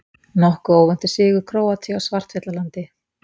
Nokkuð óvæntur sigur Króatíu á Svartfjallalandi